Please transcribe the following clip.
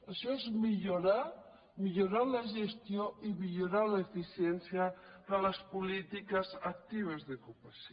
això és millorar millorar la gestió i millorar l’efi·ciència de les polítiques actives d’ocupació